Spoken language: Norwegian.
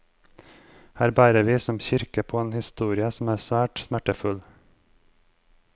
Her bærer vi som kirke på en historie som er svært smertefull.